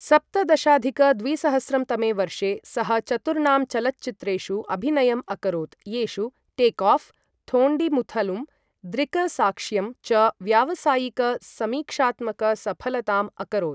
सप्तदशाधिक द्विसहस्रं तमे वर्षे सः चतुर्णां चलच्चित्रेषु अभिनयम् अकरोत् येषु टेक् ऑफ्, थोण्डिमुथलुम द्रिकसाक्ष्यम् च व्यावसायिक समीक्षात्मक सफलताम् अकरोत् ।